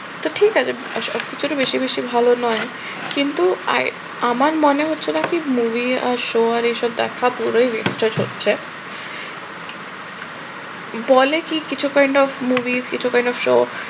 তো ঠিক আছে। সব কিছুরই বেশি বেশি ভাল নয়, কিন্তু আমার মনে হচ্ছিল কি movie আর show আর এসব দেখা পুরাই waste এ যাচ্ছে। বলে কি কিছু kind of movie কিছু kind of show